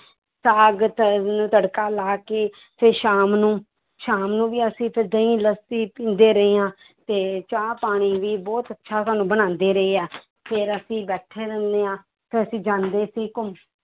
ਸਾਗ ਤੜਕਾ ਲਾ ਕੇ ਫਿਰ ਸ਼ਾਮ ਨੂੰ, ਸ਼ਾਮ ਨੂੰ ਵੀ ਅਸੀਂ ਫਿਰ ਦਹੀਂ ਲੱਸੀ ਪੀਂਦੇ ਰਹੇ ਹਾਂ ਤੇ ਚਾਹ ਪਾਣੀ ਵੀ ਬਹੁਤ ਅੱਛਾ ਸਾਨੂੰ ਬਣਾਉਂਦੇ ਰਹੇ ਹੈ ਫਿਰ ਅਸੀਂ ਬੈਠੇ ਰਹਿੰਦੇ ਹਾਂ, ਫਿਰ ਅਸੀਂ ਜਾਂਦੇ ਸੀ ਘੁੰਮ~